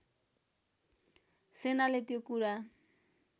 सेनाले त्यो कुरा